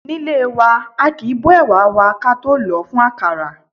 Nílé wa, aàkín bó ẹ̀wà wa ka tó lòó fún àkàrà.